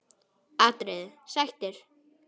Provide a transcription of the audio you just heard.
atriði: Sættir?